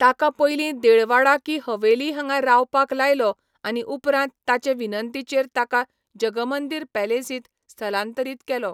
ताका पयलीं देळवाडा की हवेली हांगा रावपाक लायलो आनी उपरांत ताचे विनंतीचेर ताका जगमंदिर पॅलेसींत स्थलांतरीत केलो.